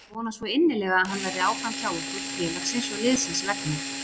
Ég vona svo innilega að hann verði áfram hjá okkur, félagsins og liðsins vegna.